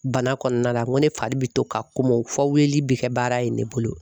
Bana kɔnɔna la n ko ne fari bɛ to ka kom'o fɔ weleli bɛ kɛ baara in de bolo.